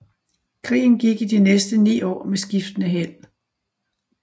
Krigen gik i de næste ni år med skiftende held